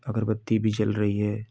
अगरबत्ती भी जल रही है।